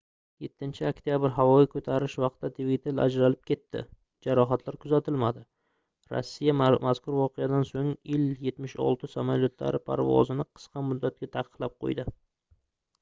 7-oktabr havoga koʻtarilish vaqtida dvigatel ajralib ketdi jarohatlar kuzatilmadi rossiya mazkur voqeadan soʻng ii-76 samolyotlari parvozini qisqa muddatga taqiqlab qoʻydi